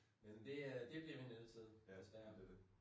Men det øh det bliver vi nødt til desværre